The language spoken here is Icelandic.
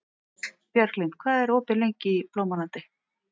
Bjarglind, hvað er lengi opið í Blómalandi?